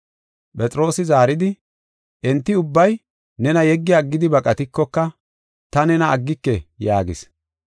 Phexroosi zaaridi, “Enti ubbay nena yeggi aggidi baqatikoka, ta nena aggike” yaagis.